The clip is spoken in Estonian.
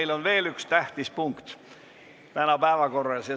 Meil on veel üks tähtis punkt täna päevakorras.